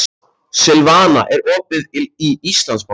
Silvana, er opið í Íslandsbanka?